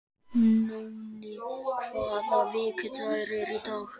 Nóni, hvaða vikudagur er í dag?